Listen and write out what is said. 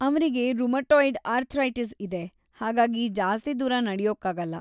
ಅವ್ರಿಗೆ rheumatoid arthritis ಇದೆ, ಹಾಗಾಗಿ ಜಾಸ್ತಿ ದೂರ ನಡ್ಯೋಕ್ಕಾಗಲ್ಲ.